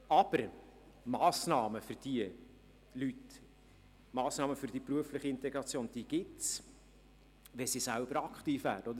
Aber, Massnahmen für diese Leute, Massnahmen für die berufliche Integration, die gibt es, wenn sie selber aktiv werden, nicht wahr?